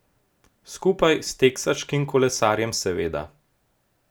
Skupaj s teksaškim kolesarjem, seveda.